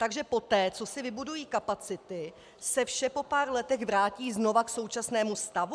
Takže poté, co si vybudují kapacity, se vše po pár letech vrátí znova k současnému stavu?